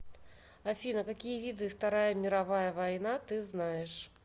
афина какие виды вторая мировая война ты знаешь